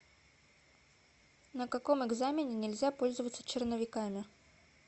на каком экзамене нельзя пользоваться черновиками